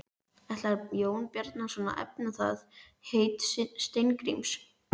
Ætlar Jón Bjarnason að efna það heit Steingríms?